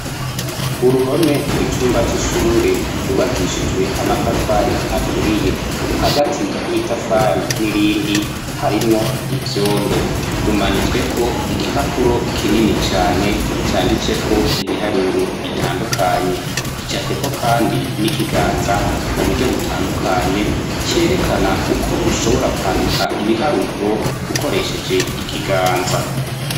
Uruhome rw'icumba c'ishure cubakishijwe amatafari aturiye, hagati y'itafari n'irindi harimwo ivyondo. Rumanitsweko igipapuro kinini cane canditsweko ibiharuro bitandukanye gicapweko kandi n'ikiganza mu buryo butandukanye, cerekana uko ushobora kwandika ibiharuro ukoresheje ikiganza.